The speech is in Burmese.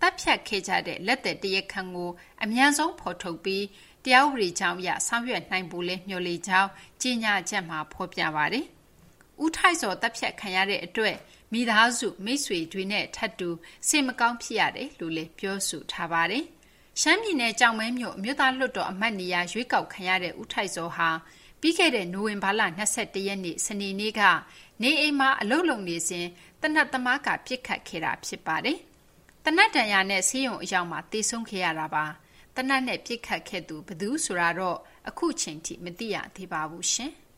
သတ်ဖြတ်ခံရမှုမှာ ကျူးလွန်သူတွေကို အမြန်ဆုံးဖော်ထုတ်ပြီး တရားဥပဒေကြောင်းအရ ဆောင်ရွက်နိုင်ဖို့လည်း မျှော်လင့်ကြောင်း ထုတ်ပြန်ချက်မှာ ဖော်ပြထားပါတယ်။ ဦးထိုက်ဇော် အသတ်ခံရမှုအတွက် မိသားစုမိတ်ဆွေနဲ့ ထပ်တူစိတ်မကောင်းဖြစ်ရကြောင်းလည်း ဖော်ပြပါတယ်။ ရှမ်းပြည်နယ် ကျောက်မဲမြို့ အမျိုးသားလွှတ်တော်အမတ်နေရာ ရွေးကောက်ခံထားရတဲ့ ဦးထိုက်ဇော်ဟာ ပြီးခဲ့တဲ့ နိုဝင်ဘာလ ၂၁ ရက်နေ့ စနေနေ့က နေအိမ်မှာအလုပ်လုပ်နေစဉ် သေနတ်သမားက ပစ်ခတ်ခဲ့တာဖြစ်ပါတယ်။ သေနတ်ဒဏ်ရာနဲ့ ဆေးရုံအရောက်မှာ သေဆုံးခဲ့တာပါ။ သေနတ်နဲ့ ပစ်ခတ်ခဲ့သူ ဘယ်သူဆိုတာတော့ အခုအချိန်ထိ မသိရသေးပါဘူး။